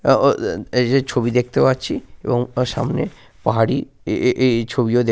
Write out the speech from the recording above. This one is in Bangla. আহ আহ এইযে ছবি দেখতে পাচ্ছি এবং সামনে পাহাড়ি এ-এ এই ছবি ও দেখ --